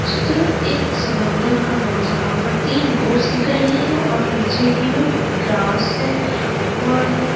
चित्र एक समुंद्र का है जहाँ पर तीन बोट्स दिख रहे हैं और पीछे की ओर ग्रास है और--